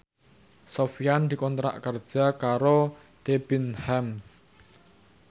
Sofyan dikontrak kerja karo Debenhams